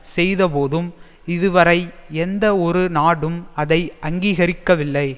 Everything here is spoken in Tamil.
செய்தபோதும் இதுவரை எந்த ஒரு நாடும் அதை அங்கீகரிக்கவில்லை